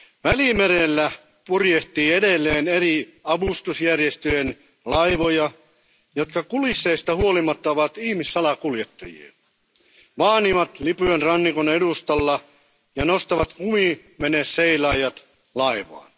Välimerellä purjehtii edelleen eri avustusjärjestöjen laivoja, jotka kulisseista huolimatta ovat ihmissalakuljettajia. Ne vaanivat Libyan rannikon edustalla ja nostavat kumiveneseilaajat laivaan.